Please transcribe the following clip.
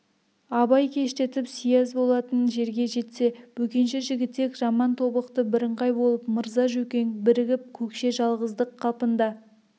абай кештетіп сияз болатын жерге жетсе бөкенші жігітек жаман тобықты бірыңғай болып мырза жөкең бірігіп көкше жалғыздық қалпында